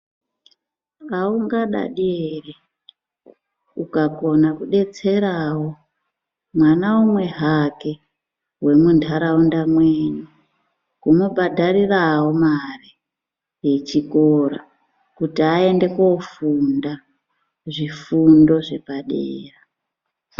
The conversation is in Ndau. Aungadadi ere ukakona kudetserawo mwana umwe hake wemuntaraunda mwenyu kumubhadharirawo mare yechikora kuti aende kofunda zvifundo zvepadera.